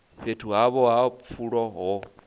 fhethu havho ha pfulo ho